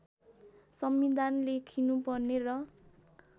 संविधान लेखिनुपर्ने र